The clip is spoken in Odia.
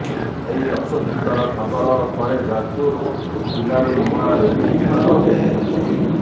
ଏହି ଆଶ୍ୱସ୍ତିକର ଖବର ପରେ ଯାଜପୁର ଜିଲ୍ଲାରୁ ନୂଆ ରୋଗୀ ଚିହ୍ନଟ ହୋଇଛନ୍ତି